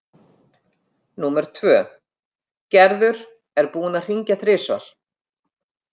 Númer tvö: Gerður er búin að hringja þrisvar.